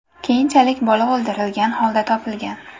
Keyinchalik bola o‘ldirilgan holda topilgan.